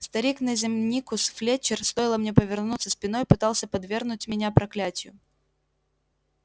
старик наземникус флетчер стоило мне повернуться спиной пытался подвергнуть меня проклятию